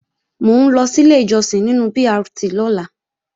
Mò ń lọ sílé ìjọsìn nínu BRT lọ́la